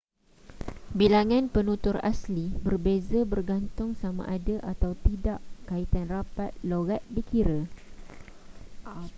bilangan penutur asli berbeza bergantung sama ada atau tidak kaitan rapat loghat dikira